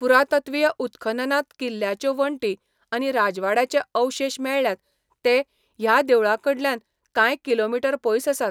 पुरातत्वीय उत्खननांत किल्ल्याच्यो वण्टी आनी राजवाड्याचे अवशेश मेळ्ळ्यात ते ह्या देवळाकडल्यान कांय किलोमीटर पयस आसात.